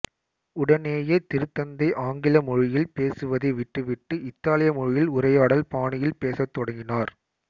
உடனேயே திருத்தந்தை ஆங்கில மொழியில் பேசுவதை விட்டுவிட்டு இத்தாலிய மொழியில் உரையாடல் பாணியில் பேசத் தொடங்கினார்